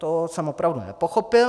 To jsem opravdu nepochopil.